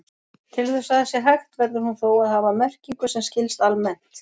Til þess að það sé hægt verður hún þó að hafa merkingu sem skilst almennt.